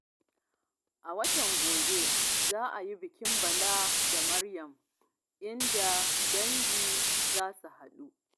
A watan gobe za a yi bikin Bala da Maryam, inda dangi za su haɗu.